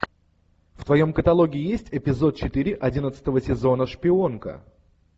в твоем каталоге есть эпизод четыре одиннадцатого сезона шпионка